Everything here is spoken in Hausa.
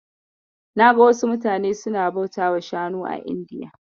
Naga wasu mutane suna bautawa Shanu a Indiya.